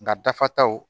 Nka dafataw